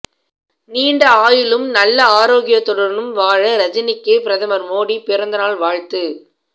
நீண்ட ஆயுளும் நல்ல ஆரோக்கியத்துடனும் வாழ ரஜினிக்கு பிரதமர் மோடி பிறந்தநாள் வாழ்த்து